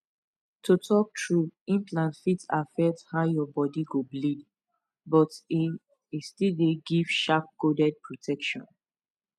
to talk true implant fit affect how your body go bleed but e e still dey give sharp coded protection